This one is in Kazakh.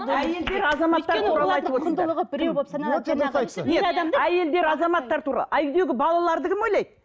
әйелдер азаматтар ал үйдегі балаларды кім ойлайды